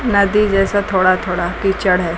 नदी जैसा थोड़ा थोड़ा कीचड़ है।